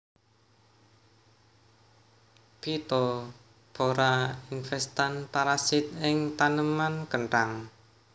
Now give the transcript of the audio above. Phytopthora infestan parasit ing taneman kenthang